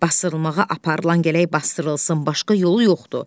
Basdırılmağa aparılan gərək basdırılsın, başqa yolu yoxdur.